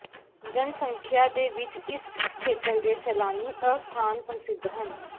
ਜਨਸੰਖਿਆ ਦੇ ਵਿੱਚ ਇਸ ਖੇਤਰ ਦੇ ਸੈਲਾਨੀ ਅਸਥਾਨ ਪ੍ਰਸਿੱਧ ਹਨ